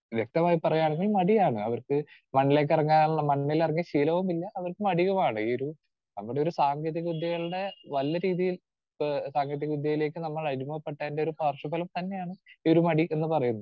Speaker 2 വ്യക്തമായി പറയുകയാണെങ്കിൽ മടിയാണ് അവർക്ക് മണ്ണിലേക്കിറങ്ങാനുള്ള മണ്ണിലിറങ്ങി ശീലവും ഇല്ല അവർക്ക് മടിയുമാണ്. ഈയൊരു നമ്മുടെ ഒരു സാങ്കേതികവിദ്യകളുടെ വലിയ രീതിയിൽ ആഹ് സാങ്കേതികവിദ്യയിലേക്ക് നമ്മൾ അടിമപ്പെട്ടതിന്റെ പാർശ്വഫലം തന്നെയാണ് ഈ ഒരു മടി എന്ന് പറയുന്നത്.